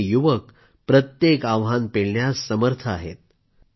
आणि हे युवक प्रत्येक आव्हान पेलण्यास समर्थ आहेत